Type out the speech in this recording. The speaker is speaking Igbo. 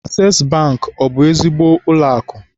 Asees Bankị, ọ bụ ezigbo ụlọakụ?